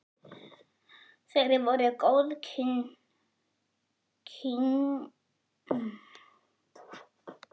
Þeir voru góðkunningjar, karl faðir minn og hann.